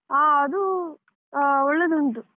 ಆ ಅದೂ ಹ ಒಳ್ಳೆದುಂಟು.